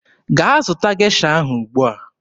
Gaa zụta Gesha ahụ ugbua!